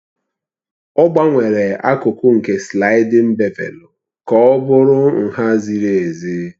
Ọ gbanwere akụkụ nke slaịdin bevelu ka ọ bụrụ nha ziri ezi.